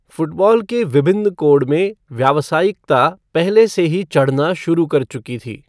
Football के विभिन्न code में व्यावसायिकता पहले से ही चढ़ना शुरू कर चुकी थी।